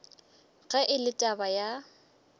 ge e le taba ya